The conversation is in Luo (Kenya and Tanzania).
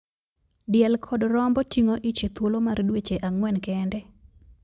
Diel kod Rombo ting'o ich e thuolo mar dweche agwen kende.